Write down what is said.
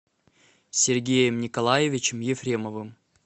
сергеем николаевичем ефремовым